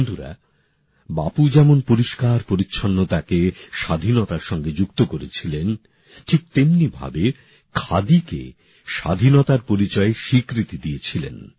বন্ধুরা বাপু যেমন পরিষ্কার পরিচ্ছন্নতাকে স্বাধীনতার সঙ্গে যুক্ত করেছিলেন ঠিক তেমনিভাবে খাদিকে স্বাধীনতার পরিচয়ে স্বীকৃতি দিয়েছিলেন